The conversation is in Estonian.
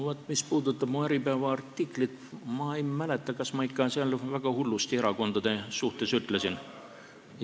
Mis puudutab mu Äripäeva artiklit, siis ma ei mäleta, kas ma seal ikka väga hullusti erakondade kohta ütlesin.